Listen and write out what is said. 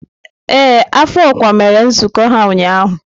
Ee, afọ ọkwa mere nzukọ ha ụnyaahụ.